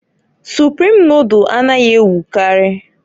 Suprim nodul anaghị ewukarị.